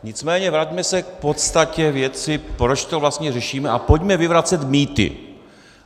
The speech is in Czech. Nicméně vraťme se k podstatě věci, proč to vlastně řešíme, a pojďme vyvracet mýty.